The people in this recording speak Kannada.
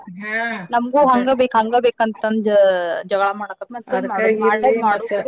ನಮ್ಗು ಹಂಗ ಬೇಕ್ ಹಂಗ ಬೇಕ್ ಅಂತಂದ ಜಗ್ಳಾ ಮಾಡಾಕ್ತಾವ್ .